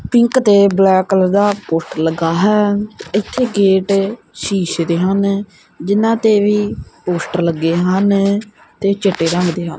pink ਤੇ black colour ਦਾ poster ਲੱਗਾ ਹੈ ਇੱਥੇ ਗੇਟ ਸ਼ੀਸ਼ੇ ਦੇ ਹਨ ਜਿਨਾਂ ਤੇ ਵੀ ਪੋਸਟਰ ਲੱਗੇ ਹਨ ਤੇ ਚਿੱਟੇ ਰੰਗ ਦੇ ਹ--